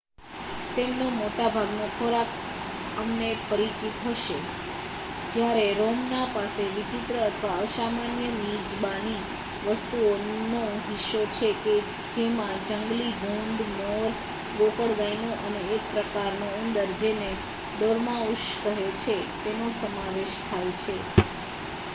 તેમનો મોટાભાગનો ખોરાક અમને પરિચિત હશે જ્યારે રોમનો પાસે વિચિત્ર અથવા અસામાન્ય મિજબાની વસ્તુઓનો હિસ્સો છે કે જેમાં જંગલી ભૂંડ મોર ગોકળગાયનો અને એક પ્રકારનો ઉંદર જેને ડોર્માઉસ કહે છે તેનો સમાવેશ થાય છે